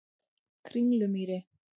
Kringlumýri